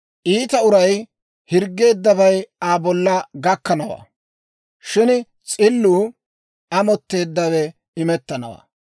Iita uray hirggeeddabay Aa bolla gakkanawaa; shin s'illuu amotteeddawe imettanawaa.